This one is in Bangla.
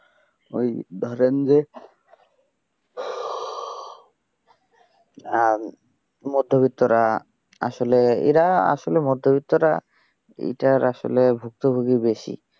ওই ধরেন যে মধ্যবিত্তরা আসলে, এরা আসলে মধ্যবিত্তরা এইটার আসলে ভুক্তভোগী বেশি।